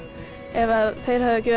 ef þeir hefðu ekki